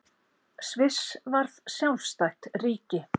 Sviss varð sjálfstætt ríki.